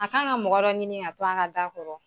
A k'an ka mɔgɔ dɔ ɲini a to an ka ga kɔrɔ.